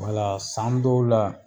Wala san dɔw la